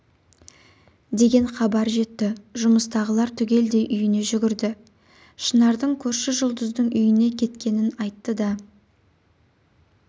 деген хабар жетті жұмыстағылар түгелдей үйіне жүгірді шынардың көрші жұлдыздың үйіне кеткенін айтты да